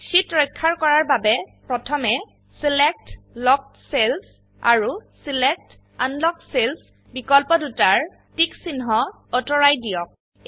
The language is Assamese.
শীট ৰক্ষা কৰাৰ বাবে প্ৰথমে ছিলেক্ট লকড চেলছ আৰু ছিলেক্ট আনলক্ড চেলছ বিকল্পদুটাৰ টিকচিন্হ অতৰুৱাইদিয়ক